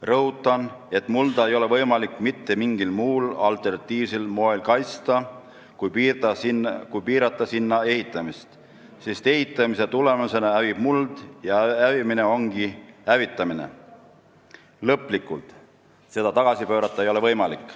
Rõhutan, et mulda ei ole võimalik mitte mingil muul, alternatiivsel moel kaitsta, kui piirata sinna ehitamist, sest ehitamise tulemusena hävib muld ja hävimine ongi hävitamine, lõplikult – seda tagasi pöörata ei ole võimalik.